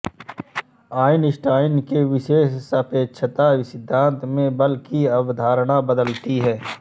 Einstein के विशेष सापेक्षता सिद्धांत में बल की अवधारणा बदलती है